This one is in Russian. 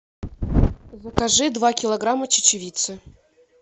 закажи два килограмма чечевицы